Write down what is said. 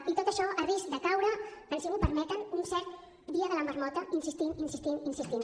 i tot això a risc de caure en si m’ho permeten un cert dia de la marmota insistint insistint insistint